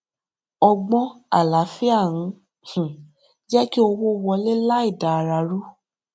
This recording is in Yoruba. ọgbọn àlàáfíà ń um jé kí owó wọlé láì da ara ru